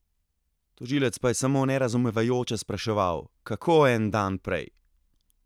Tožilec pa je samo nerazumevajoče spraševal: "Kako en dan prej?